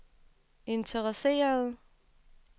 interesserede